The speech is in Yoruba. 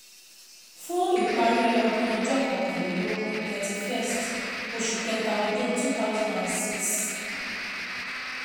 FÚN ÌPARÍ ỌDÚN ỌJỌ́ KỌKÀNLÉLÓGÚN thirty first OṢÙ KẸTA ỌDÚN two thousand and six.